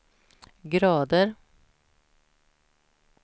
grader